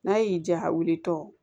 N'a y'i diya a wulitɔ